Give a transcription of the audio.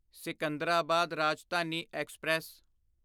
Secunderabad Rajdhani express